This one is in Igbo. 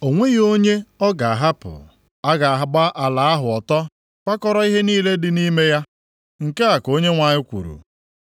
O nweghị onye ọ ga-ahapụ. A ga-agba ala ahụ ọtọ kwakọrọ ihe niile dị nʼime ya. Nke a ka Onyenwe anyị kwuru.